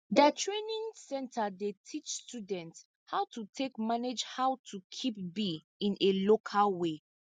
der training center dey teach students how to take manage how to keep bee in a local way